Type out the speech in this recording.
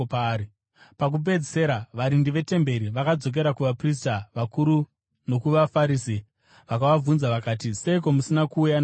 Pakupedzisira varindi vetemberi vakadzokera kuvaprista vakuru nokuvaFarisi, vakavabvunza vakati, “Seiko musina kuuya naye kuno?”